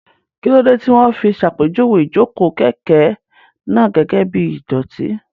Kí ló dé tí wọ́n fi ṣàpèjúwe ìjókòó kẹ̀kẹ́ náà gẹ́gẹ́ bí ìdọ̀tí?